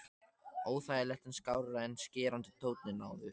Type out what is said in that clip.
Óþægilegt en skárra en skerandi tónninn áður.